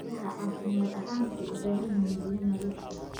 Idaha caafimaad ahaan waxay u baahan yihiin biyo nadiif ah.